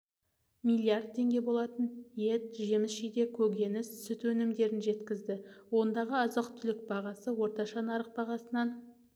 миллиард теңге болатын ет жеміс-жидек көкөніс сүт өнімдерін жеткізді ондағы азық-түлік бағасы орташа нарық бағасынан